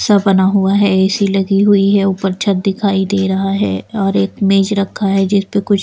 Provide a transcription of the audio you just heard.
सा बना हुआ है ए_सी लगी हुई है ऊपर छत दिखाई दे रहा है और एक मेज रखा है जिस पर कुछ--